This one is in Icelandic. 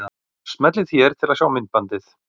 Smellið hér til að sjá myndbandið.